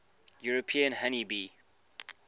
european honey bee